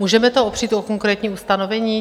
Můžeme to opřít o konkrétní ustanovení?